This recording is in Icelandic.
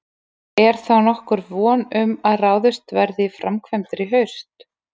Er þá nokkur von um að ráðist verði í framkvæmdir í haust?